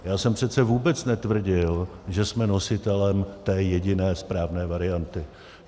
Já jsem přece vůbec netvrdil, že jsme nositelem té jediné správné varianty.